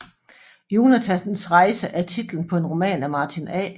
Jonathans rejse er titlen på en roman af Martin A